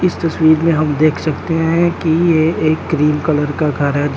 इस तस्वीर में हम देख सकते हैं कि ये एक क्रीम कलर का घर है।